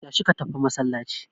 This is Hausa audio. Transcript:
Tashi ka tafi masallaci.